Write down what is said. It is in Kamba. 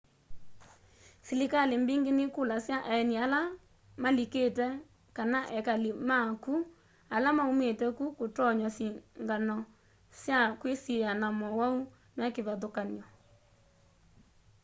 silikali mbingi nikulasya aeni ala malikite kana ekali ma ku ala maumite ku kutonywa sikngano sya kwisiiia na mowau mekivathukany'o